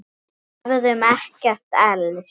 Við hefðum ekkert elst.